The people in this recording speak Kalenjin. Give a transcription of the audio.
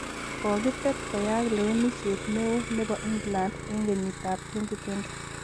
kokitet koyaak lewenisiet ne o ne bo England eng kenyitab 2020.